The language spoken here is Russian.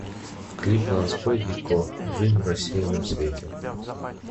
клип ланской и ко жизнь в рассеянном свете